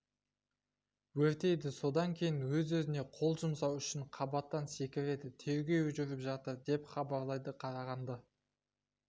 өртейді содан кейін өз-өзіне қол жұмсау үшін қабаттан секіреді тергеу жүріп жатыр деп хабарлайды қарағанды